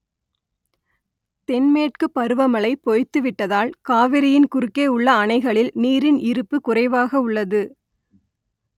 தென்மேற்குப் பருவமழை பொய்த்துவிட்டதால் காவிரியின் குறுக்கே உள்ள அணைகளில் நீரின் இருப்பு குறைவாக உள்ளது